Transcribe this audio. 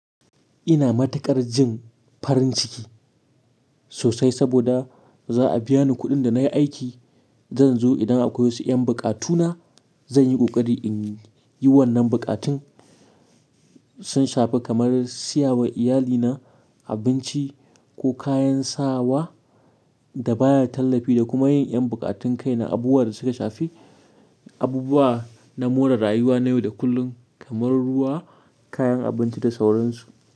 Ina matuƙar jin farin ciki sosai saboda za a biya ni kuɗin da na yi aiki. Zan zo idan akwai wasu 'yan buƙatuna. Zan yi ƙoƙari in yi wannan buƙatun sun shafi kamar siyawa iyalina abinci ko kayan sawa da baya tallafi da kuma yin 'yan buƙatun kai na abubuwan da suka shafi abubuwa na more rayuwa na yau da kullum kamar ruwa, kayan abinci da sauransu.